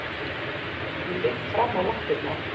Ég ligg fram á lappirnar.